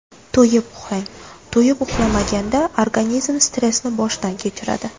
To‘yib uxlang To‘yib uxlamaganda organizm stressni boshdan kechiradi.